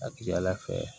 A ka ca ala fɛ